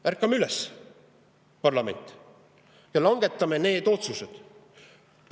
Ärkame üles, parlament, ja langetame need otsused!